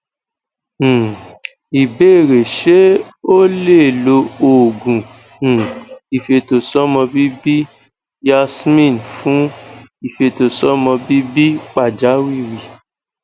um ìbéèrè ṣe o le lo oogun um ifetosọmọbibi yasmin fun ifetosọmọbibi pajawiri